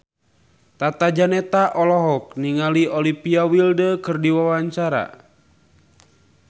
Tata Janeta olohok ningali Olivia Wilde keur diwawancara